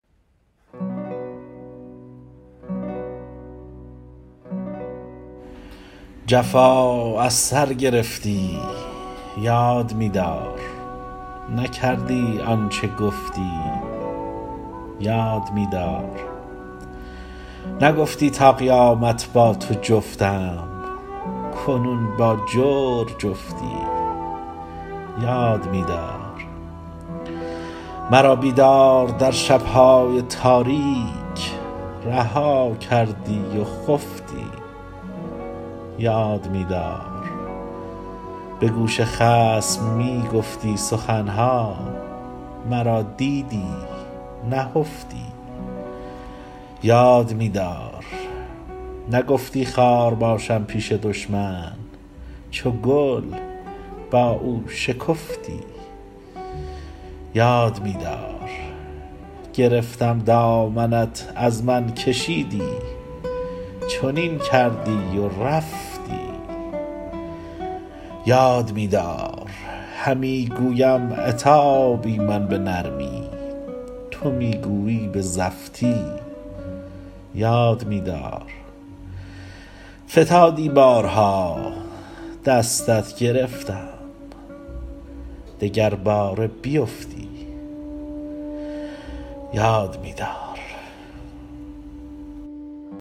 جفا از سر گرفتی یاد می دار نکردی آن چه گفتی یاد می دار نگفتی تا قیامت با تو جفتم کنون با جور جفتی یاد می دار مرا بیدار در شب های تاریک رها کردی و خفتی یاد می دار به گوش خصم می گفتی سخن ها مرا دیدی نهفتی یاد می دار نگفتی خار باشم پیش دشمن چو گل با او شکفتی یاد می دار گرفتم دامنت از من کشیدی چنین کردی و رفتی یاد می دار همی گویم عتابی من به نرمی تو می گویی به زفتی یاد می دار فتادی بارها دستت گرفتم دگرباره بیفتی یاد می دار